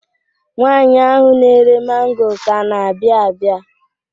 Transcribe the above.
Nwaanyị ahụ na-ere mango ka na-abịa abịa.